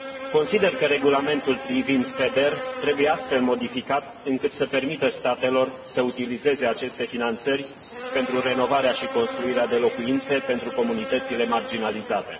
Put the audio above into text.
Consider că regulamentul privind FEDER trebuie astfel modificat încât să permită statelor să utilizeze aceste finanțări pentru renovarea și construirea de locuințe pentru comunitățile marginalizate.